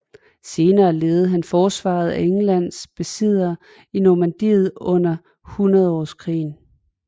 Senere ledede han forsvaret af Englands besiddelser i Normandiet under Hundredårskrigen